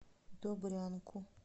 добрянку